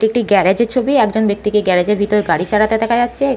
একটি গ্যারাজ -এর ছবি। একজন ব্যক্তিকে গ্যারাজ -এর ভিতরে গাড়ি চালাতে দেখা যাচ্ছে।